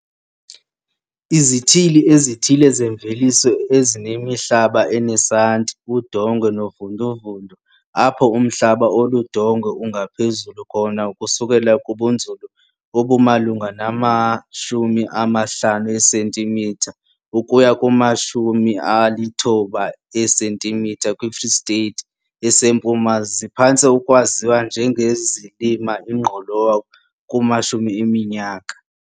Izithili ezithile zemveliso ezinemihlaba enesanti, udongwe novunduvundu apho umhlaba oludongwe ungaphezulu khona ukususela kubunzulu obumalunga nama-50 cm ukuya kuma-90 cm kwiFree State eseMpuma ziphantse ukwaziwa njengezilima ingqolowa kumashumi eminyaka.